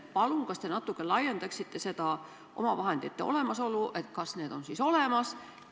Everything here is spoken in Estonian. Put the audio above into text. Palun, kas te natuke selgitaksite seda omavahendite olemasolu – kas need on siis olemas?